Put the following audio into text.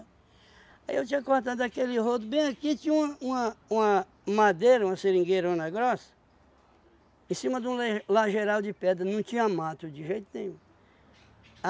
Aí eu tinha cortado aquele rodo bem aqui, tinha uma uma uma madeira, uma seringueirona grossa, em cima de um le lageral de pedra, não tinha mato de jeito nenhum.